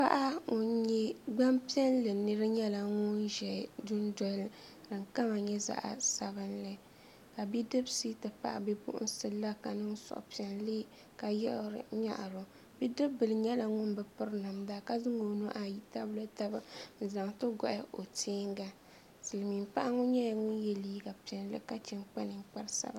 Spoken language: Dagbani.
Paɣa ŋun nyɛ Gbanpiɛli nira nyɛla ŋun ʒɛ dundoli ni ka di kama nyɛ zaɣ sabinli ka bidibsi ti pahi bipuɣunsi la ka niŋ suhupiɛlli ka yiɣiri nyaɣaro bidib bili nyɛla ŋun bi piri namda ka zaŋ o nuhi ayi tabili taba n zaŋli gohi o teenga silmiin paɣa ŋɔ nyɛla ŋun yɛ liiga piɛlli ka chɛ n kpa ninkpari sabinli